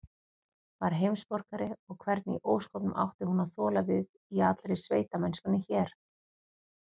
Var heimsborgari, og hvernig í ósköpunum átti hún að þola við í allri sveitamennskunni hér?